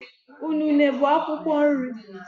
Unune bụ akwụkwọ nri.